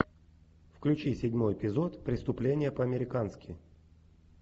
включи седьмой эпизод преступление по американски